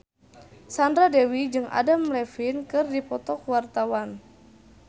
Sandra Dewi jeung Adam Levine keur dipoto ku wartawan